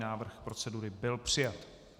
Návrh procedury byl přijat.